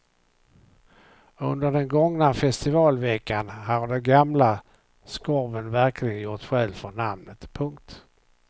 Under den gångna festivalveckan har den gamla skorven verkligen gjort skäl för namnet. punkt